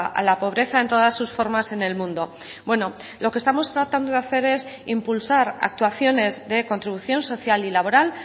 a la pobreza en todas sus formas en el mundo bueno lo que estamos tratando de hacer es impulsar actuaciones de contribución social y laboral